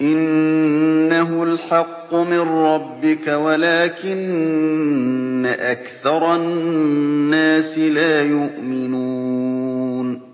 إِنَّهُ الْحَقُّ مِن رَّبِّكَ وَلَٰكِنَّ أَكْثَرَ النَّاسِ لَا يُؤْمِنُونَ